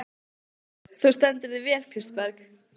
Þú stendur þig vel, Kristberg!